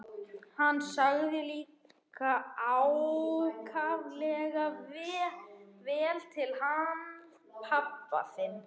Hann sagði líka ákaflega vel til hann pabbi þinn.